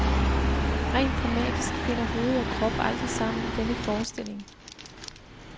Rent dramatisk finder hoved og krop aldrig sammen i denne forestilling.